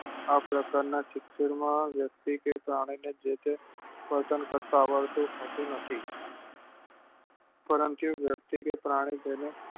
આ પ્રકાર ના શિક્ષણ માં વ્યક્તિ કે પ્રાણી ને જોકે વર્તન કરતા આવડતું હોતું નથી પરંતુ વ્યક્તિ કે પ્રાણી ને જોઈ ને